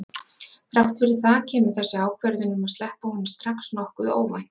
Þrátt fyrir það kemur þessi ákvörðun um að sleppa honum strax nokkuð óvænt.